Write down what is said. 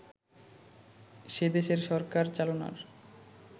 সেদেশের সরকার চালানোর